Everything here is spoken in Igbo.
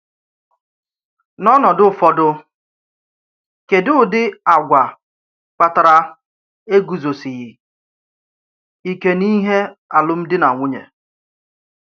N’ọ̀nọdụ ụfọdụ, kédù ụdị̀ àgwà kpàtárà ègùzòsìghì íkè n’íhè n’álụ́m̀dí nà nwunyè.